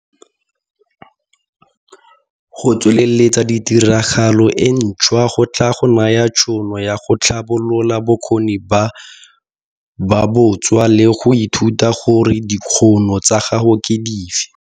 Go tsweleletsa tiragalo e ntshwa go tlaa go naya tshono ya go tlhabolola bokgoni bo bontshwa le go ithuta gore dikgono tsa gago ke dife.